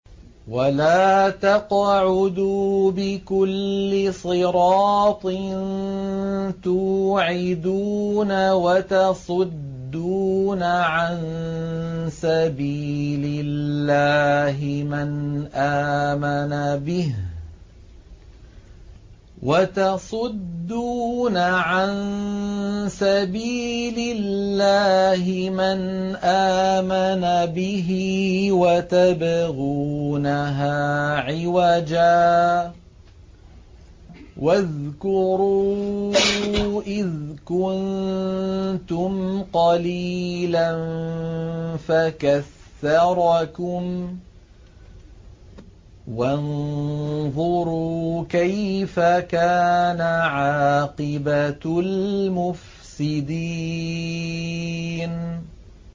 وَلَا تَقْعُدُوا بِكُلِّ صِرَاطٍ تُوعِدُونَ وَتَصُدُّونَ عَن سَبِيلِ اللَّهِ مَنْ آمَنَ بِهِ وَتَبْغُونَهَا عِوَجًا ۚ وَاذْكُرُوا إِذْ كُنتُمْ قَلِيلًا فَكَثَّرَكُمْ ۖ وَانظُرُوا كَيْفَ كَانَ عَاقِبَةُ الْمُفْسِدِينَ